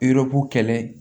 Yɔrɔko kɛlɛ